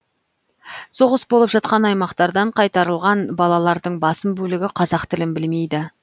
соғыс болып жатқан аймақтардан қайтарылған балалардың басым бөлігі қазақ тілін білмейді